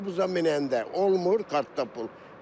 Avtobusa minəndə olmur, kartda pul.